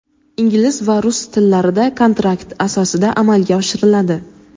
ingliz va rus tillarida kontrakt asosida amalga oshiriladi.